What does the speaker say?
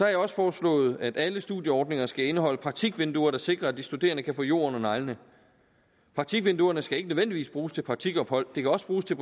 jeg også foreslået at alle studieordninger skal indeholde praktikvinduer der sikrer at de studerende kan få jord under neglene praktikvinduerne skal ikke nødvendigvis bruges til praktikophold det kan også bruges til